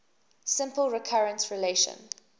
simple recurrence relation